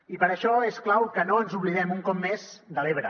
i per a això és clau que no ens oblidem un cop més de l’ebre